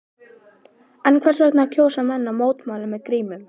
En hvers vegna kjósa menn að mótmæla með grímur?